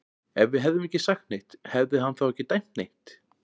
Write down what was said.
Ef við hefðum ekki sagt neitt, hefði hann þá ekki dæmt neitt?